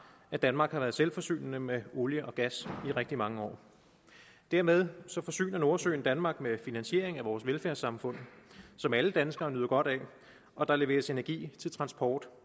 at danmark har været selvforsynende med olie og gas i rigtig mange år dermed forsyner nordsøen danmark med finansiering af vores velfærdssamfund som alle danskere nyder godt af og der leveres energi til transport